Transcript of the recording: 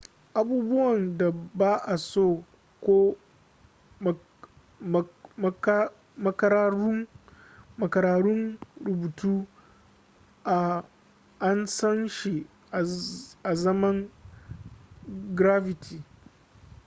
abubuwan da ba'a so ko makararrun rubutu an san shi azaman graffiti